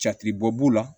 Jatibɔ b'u la